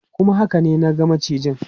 Kuma haka ne, na ga macijin.